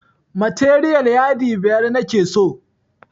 Materiyal yadi biyar nake so